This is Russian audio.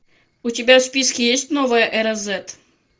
у тебя в списке есть новая эра зет